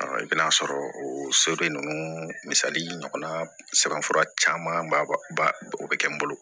I bɛ n'a sɔrɔ o soden ninnu misali ɲɔgɔnna sɛbɛn fura caman ba o bɛ kɛ n bolo